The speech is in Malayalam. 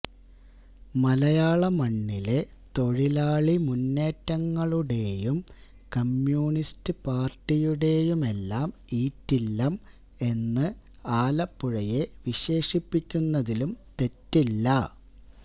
മലായാള മണ്ണിലെ തൊഴിലാളി മുന്നേറ്റങ്ങളുടെയും കമ്മ്യൂണിസ്റ്റ് പാര്ട്ടിയുടെയുമെല്ലാം ഈറ്റില്ലം എന്ന് ആലപ്പുഴയെ വിശേഷിപ്പിക്കുന്നതിലും തെറ്റില്ല